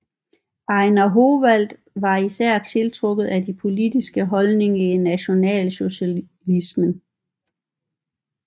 Ejnar Howalt var især tiltrukket af de politiske holdninger i nationalsocialismen